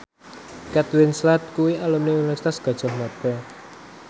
Kate Winslet kuwi alumni Universitas Gadjah Mada